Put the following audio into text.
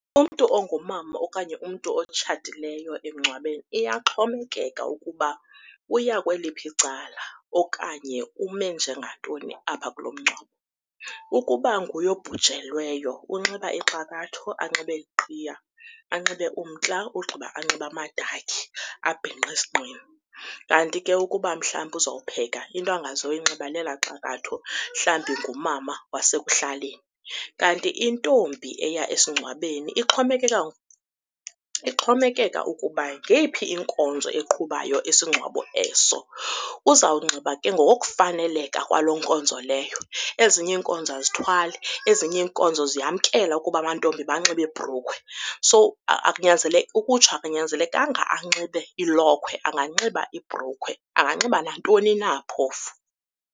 Umntu ongumama okanye umntu otshatileyo emngcwabeni iyaxhomekeka ukuba uya kweliphi icala okanye ume njengantoni apha kulo mngcwabo. Ukuba nguye obhujelweyo unxiba ixakatho, anxibe iqhiya, anxibe umntla ugqiba anxibe amadakhi abhinqe esinqeni. Kanti ke ukuba mhlawumbi uzowupheka into angazoyinxiba lela xakatho mhlawumbi ngumama wasekuhlaleni. Kanti intombi eya esingcwabeni ixhomekeka ukuba ngeyiphi inkonzo eqhubayo isingcwabo eso, uzawunxiba ke ngokokufaneleka kwaloo nkonzo leyo. Ezinye iinkonzo azithwali, ezinye iinkonzo ziyamkela ukuba amantombi banxibe iibhrukhwe. So, akunyanzelekanga ukutsho akunyanzelekanga anxibe ilokhwe, anganxiba ibrulukhwe anganxiba nantoni na phofu.